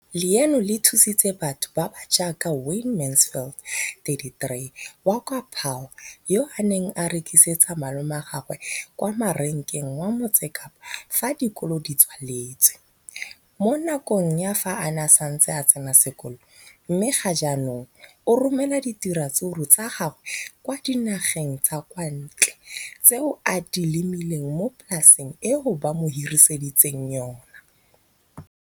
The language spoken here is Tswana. leno le thusitse batho ba ba jaaka Wayne Mansfield, 33, wa kwa Paarl, yo a neng a rekisetsa malomagwe kwa Marakeng wa Motsekapa fa dikolo di tswaletse, mo nakong ya fa a ne a santse a tsena sekolo, mme ga jaanong o romela diratsuru tsa gagwe kwa dinageng tsa kwa ntle tseo a di lemileng mo polaseng eo ba mo hiriseditseng yona.